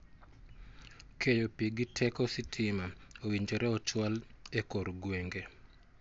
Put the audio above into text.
Keyo pii gi teko sitima owinjore ochwal e kor gwenge.